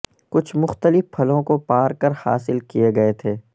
کچھ مختلف پھلوں کو پار کر حاصل کئے گئے تھے